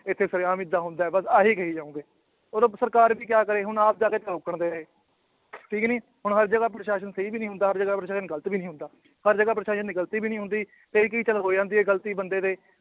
ਇੱਥੇ ਸਰੇਆਮ ਏਦਾਂ ਹੁੰਦਾ ਹੈ ਬਸ ਆਹੀ ਕਹੀ ਜਾਓਗੇ, ਉਦੋਂ ਸਰਕਾਰ ਵੀ ਕਿਆ ਕਰੇ ਹੁਣ ਆਪ ਬੇਚਾਰੇ ਨੇ ਠੀਕ ਨੀ ਹੁਣ ਹਰ ਜਗ੍ਹਾ ਪ੍ਰਸਾਸ਼ਨ ਸਹੀ ਵੀ ਨੀ ਹੁੰਦਾ ਪ੍ਰਸਾਸ਼ਨ ਗ਼ਲਤ ਵੀ ਨੀ ਹੁੰਦਾ ਹਰ ਜਗ੍ਹਾ ਪ੍ਰਸਾਸ਼ਨ ਦੀ ਗ਼ਲਤੀ ਵੀ ਨੀ ਹੁੰਦੀ, ਕਈ ਕਈ ਕੁ ਤੋਂ ਹੋ ਜਾਂਦੀ ਹੈ ਗ਼ਲਤੀ ਬੰਦੇ ਦੇ